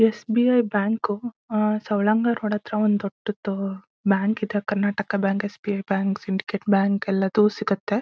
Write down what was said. ಸ್ B I bank ah Savalanga road ಹತ್ರ ಒಂದ್ ದೊಡ್ಡದ್ದು ಬ್ಯಾಂಕ್ ಇದೆ ಬ್ಯಾಂಕ್ ಇದೆ Karnataka bank S B I bank Syndicate bank ಎಲ್ಲದು ಸಿಗುತ್ತೆ.